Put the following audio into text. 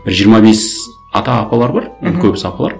бір жиырма бес ата апалар бар мхм көбісі апалар